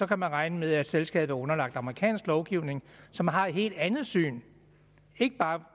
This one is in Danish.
kan man regne med at selskabet er underlagt amerikansk lovgivning som har et helt andet syn ikke bare